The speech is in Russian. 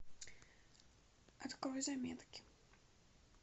открой заметки